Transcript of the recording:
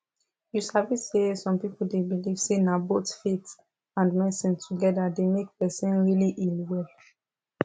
you sabi say some people dey believe say na both faith and medicine together dey make person really heal well